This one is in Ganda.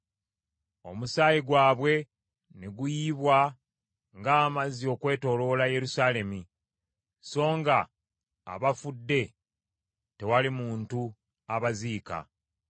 Omusaayi gwabwe ne guyiibwa ng’amazzi okwetooloola Yerusaalemi, so nga abafudde tewali muntu abaziika.